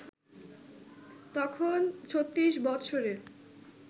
তখন ৩৬ বৎসরের